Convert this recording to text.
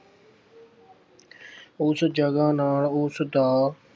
ਉਸ ਜਗ੍ਹਾ ਨਾਲ ਉਸ ਦਾ